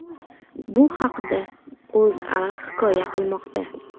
Bu haqda O‘zA hikoya qilmoqda .